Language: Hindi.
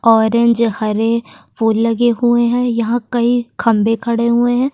ऑरेंज हरे फूल लगे हुए हैं यहाँ कई खंबे खड़े हुए हैं।